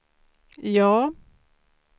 ja